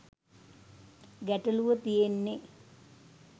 ගැටලූව තියෙන්නේ